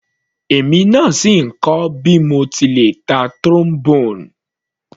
Èmi náà sì ń kọ́ bí mo ti le ta Trombone.